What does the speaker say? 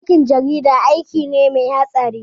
Aikin jarida aiki ne mai hatsari